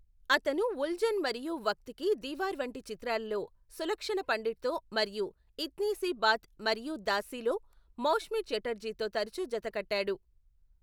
అతను ఉల్జన్ మరియు వక్త్ కి దీవార్ వంటి చిత్రాలలో సులక్షణ పండిట్తో మరియు ఇత్నీ సి బాత్ మరియు దాసిలో మౌష్మీ ఛటర్జీతో తరచూ జత కట్టాడు.